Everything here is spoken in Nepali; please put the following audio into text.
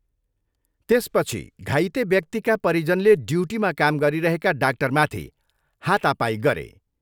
त्यसपछि घाइते व्यक्तिका परिजनले ड्युटीमा काम गरिरहेका डाक्टरमाथि हातापाई गरे।